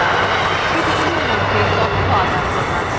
sheetsগুলির মধ্যে তথ্য আদানপ্রদান